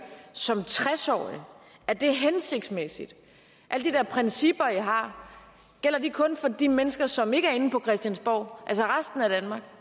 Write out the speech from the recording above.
som tres årig er det hensigtsmæssigt alle de der principper i har gælder de kun for de mennesker som ikke er inde på christiansborg altså resten af danmark